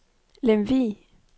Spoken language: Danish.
Lemvig